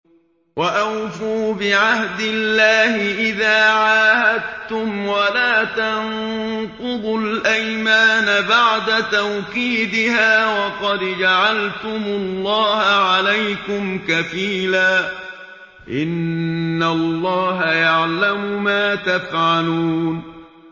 وَأَوْفُوا بِعَهْدِ اللَّهِ إِذَا عَاهَدتُّمْ وَلَا تَنقُضُوا الْأَيْمَانَ بَعْدَ تَوْكِيدِهَا وَقَدْ جَعَلْتُمُ اللَّهَ عَلَيْكُمْ كَفِيلًا ۚ إِنَّ اللَّهَ يَعْلَمُ مَا تَفْعَلُونَ